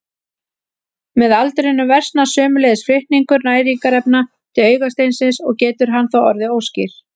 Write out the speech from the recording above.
Með aldrinum versnar sömuleiðis flutningur næringarefna til augasteinsins og getur hann þá orðið óskýr.